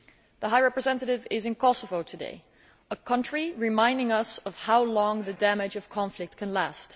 The High Representative is in Kosovo today, a country that reminds us of how long the damage of conflict can last.